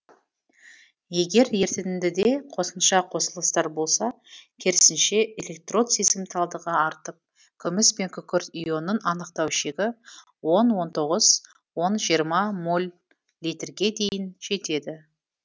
егер ерітіндіде қосымша қосылыстар болса керісінше электрод сезімталдығы артып күміс пен күкірт ионын анықтау шегі он он тоғыз он жиырма моль литрге дейін жетеді